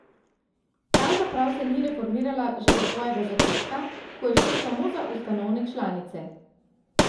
Pravzaprav se ni reformirala že od svojega začetka, ko je šlo samo za ustanovne članice.